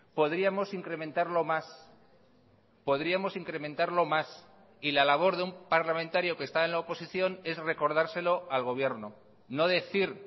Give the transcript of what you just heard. podríamos incrementarlo más podríamos incrementarlo más y la labor de un parlamentario que está en la oposición es recordárselo al gobierno no decir